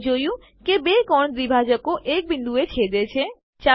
આપણે જોયું કે બે કોણ દ્વિભાજકો એક બિંદુએ છેદે છે